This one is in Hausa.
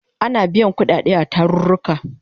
Ana biyan kudade a tarurruka